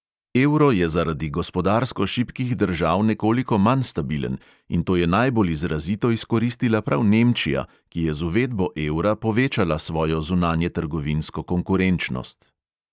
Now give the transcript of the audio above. Evro je zaradi gospodarsko šibkih držav nekoliko manj stabilen, in to je najbolj izrazito izkoristila prav nemčija, ki je z uvedbo evra povečala svojo zunanjetrgovinsko konkurenčnost.